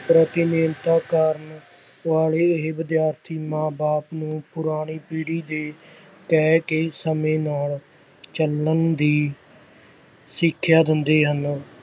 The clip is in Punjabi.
ਪ੍ਰਤੀਨਿਧਤਾ ਕਰਨ ਵਾਲੇ ਇਹ ਵਿਦਿਆਰਥੀ ਮਾਂ ਬਾਪ ਨੂੰ ਪੁਰਾਣੀ ਪੀੜ੍ਹੀ ਦੇ ਕਹਿ ਕੇ ਸਮੇਂ ਨਾਲ ਚੱਲਣ ਦੀ ਸਿੱਖਿਆ ਦਿੰਦੇ ਹਨ।